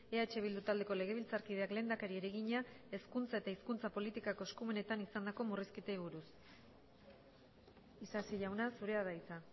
eh bildu taldeko legebiltzarkideak lehendakariari egina hezkuntza eta hizkuntza politikako eskumenetan izandako murrizketei buruz isasi jauna zurea da hitza